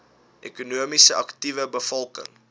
ekonomies aktiewe bevolking